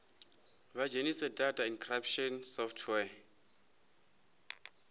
vha dzhenise data encryption software